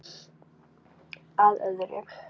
Að öðru.